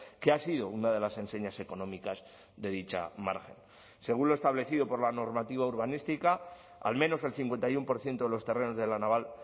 que ha sido una de las enseñas económicas de dicha margen según lo establecido por la normativa urbanística al menos el cincuenta y uno por ciento de los terrenos de la naval